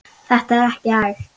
Þetta er ekki hægt.